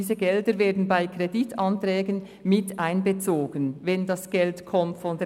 Diese Gelder werden zudem bei Kreditanträgen miteinbezogen, wenn bereits SGH-Gelder genehmigt wurden.